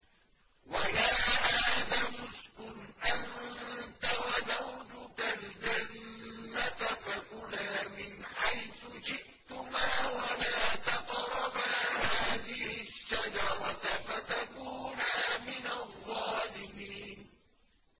وَيَا آدَمُ اسْكُنْ أَنتَ وَزَوْجُكَ الْجَنَّةَ فَكُلَا مِنْ حَيْثُ شِئْتُمَا وَلَا تَقْرَبَا هَٰذِهِ الشَّجَرَةَ فَتَكُونَا مِنَ الظَّالِمِينَ